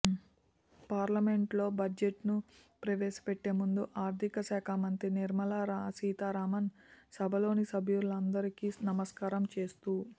పార్లమెంట్లో బడ్జెట్ను ప్రవేశపెట్టే ముందు ఆర్థిక శాఖ మంత్రి నిర్మలా సీతారామన్ సభలోని సభ్యులందరికీ నమస్కారం చేస్తూ